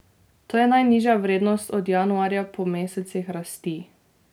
To je najnižja vrednost od januarja po mesecih rasti.